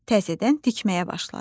Təzədən tikməyə başladı.